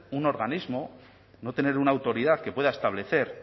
un organismo no tener una autoridad que pueda establecer